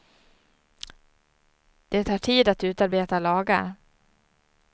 Det tar tid att utarbeta lagar.